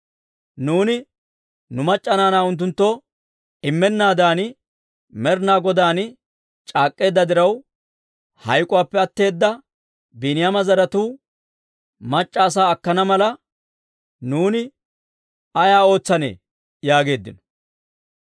Nuuni nu mac'c'a naanaa unttunttoo immennaadan Med'inaa Godaan c'aak'k'eedda diraw, hayk'k'uwaappe atteeda Biiniyaama zaratuu mac'c'a asaa akkana mala, nuuni ay ootsanee?» yaageeddino.